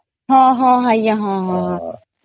ହଁ ହଁ ଆଂଜ୍ଞା ହଁ ହଁ